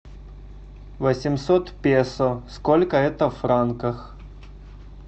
восемьсот песо сколько это в франках